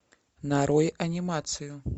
нарой анимацию